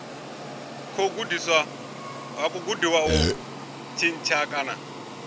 khou gudiwa u tshintsha kana